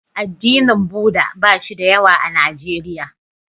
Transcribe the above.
Addinin Buddha ba shi da yawa a Nijeriya.